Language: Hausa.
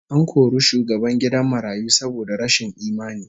An kori shugaban gidan marayu saboda rashin imani